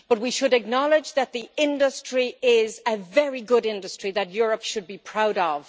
We should acknowledge that the industry is a very good industry that Europe should be proud of.